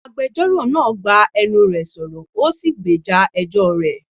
Agbẹjọ́rò náà gbá enú re sọ̀rọ̀, ó sì gbèjà ẹjọ́ rẹ̀.